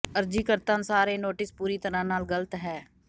ਅਰਜ਼ੀਕਰਤਾ ਅਨੁਸਾਰ ਇਹ ਨੋਟਿਸ ਪੂਰੀ ਤਰ੍ਹਾਂ ਨਾਲ ਗ਼ਲਤ ਹੈ